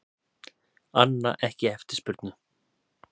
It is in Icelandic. Anna ekki eftirspurn